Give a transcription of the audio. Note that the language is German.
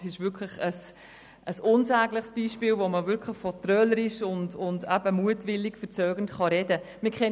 Es ist ein unsägliches Beispiel, wo man wirklich von trölerisch und mutwillig verzögernd sprechen kann.